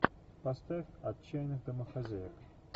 поставь отчаянных домохозяек